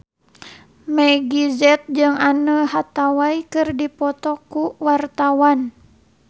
Meggie Z jeung Anne Hathaway keur dipoto ku wartawan